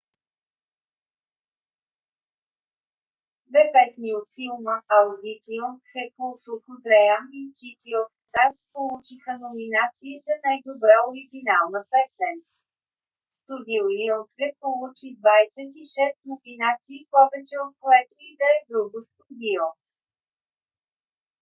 две песни от филма audition the fools who dream и city of stars получиха номинации за най-добра оригинална песен. студио lionsgate получи 26 номинации – повече от което и да е друго студио